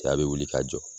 A bɛ wuli ka jɔ